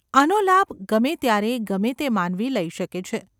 આનો લાભ ગમે ત્યારે ગમે તે માનવી લઈ શકે છે.